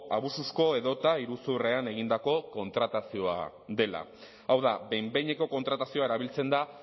abusuzko edota iruzurrean egindako kontratazioa dela hau da behin behineko kontratazioa erabiltzen da